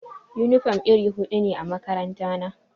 Yunifom iri hudu ne a makarantana.